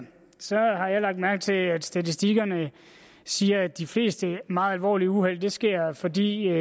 har jeg lagt mærke til at statistikkerne siger at de fleste meget alvorlige uheld sker fordi